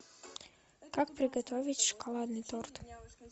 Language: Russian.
как приготовить шоколадный торт